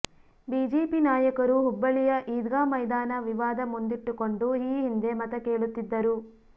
BJP ನಾಯಕರು ಹುಬ್ಬಳ್ಳಿಯ ಈದ್ಗಾ ಮೈದಾನ ವಿವಾದ ಮುಂದಿಟ್ಟುಕೊಂಡು ಈ ಹಿಂದೆ ಮತ ಕೇಳುತ್ತಿದ್ದರು